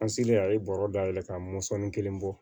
An selen a ye bɔrɔ dayɛlɛ k'a mɔnsɔn kelen bɔ